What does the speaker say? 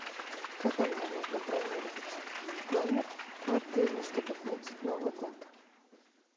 когда мне нужно бронировать номер в отеле чтобы отметить новый год